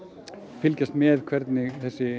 fylgjast með hvernig